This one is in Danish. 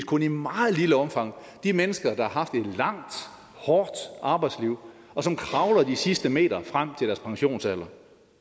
kun i meget lille omfang de mennesker der har haft et langt hårdt arbejdsliv og som kravler de sidste meter frem til deres pensionsalder